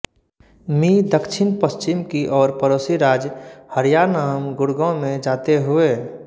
मी दक्षिण पश्चिम की ओर पड़ोसी राज्य हरियाणाम गुडगाँव में जाते हुए